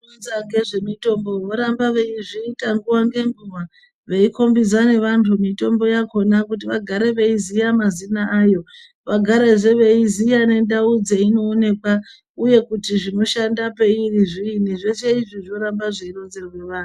...Vanoronza ngezvemitombo voramba veizviita nguva ngenguva veikombidza nevantu mitombo yakona kuti vagare veiziya mazina ayo vagarezve veiziva ngendau dzeinoonekwa uye kuti zvinoshanda peiri zviinyi zveshe izvi zvoramba zveironzerwe anhu.